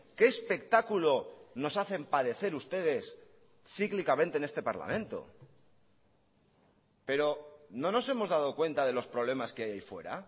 qué espectáculo nos hacen padecer ustedes cíclicamente en este parlamento pero no nos hemos dado cuenta de los problemas que hay ahí fuera